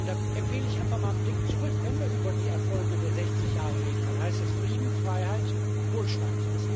Da empfehle ich einfach mal einen Blick zurück. Wenn wir über die Erfolge der letzten 60 Jahre reden, dann heißt das Frieden, Freiheit, Wohlstand.